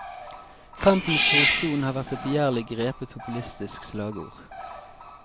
Kamp mot korrupsjonen har vært et begjærlig grepet populistisk slagord.